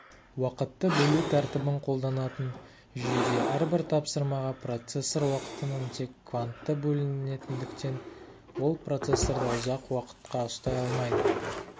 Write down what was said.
уақытты бөлу тәртібін қолданатын жүйеде әрбір тапсырмаға процессор уақытының тек кванты бөлінетіндіктен ол процессорды ұзақ уақытқа ұстай алмайды